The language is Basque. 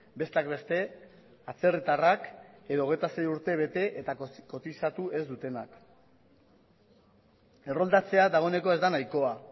besteak beste atzerritarrak edo hogeita sei urte bete eta kotizatu ez dutenak erroldatzea dagoeneko ez da nahikoa